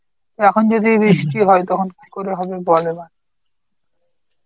এখন যদি বৃষ্টি হয় তখন কি করে হবে বল এবার.